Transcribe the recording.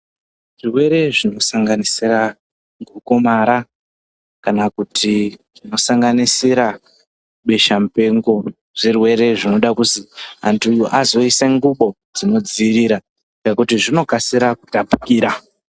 Zvirwere zvinosanganisira gomarara kana kuti zvinosanganisira besha mupengo zvirwere zvinoda kuzi anhu azoise ngubo dzinodziirira ngekuti zvinokasira kutapukira.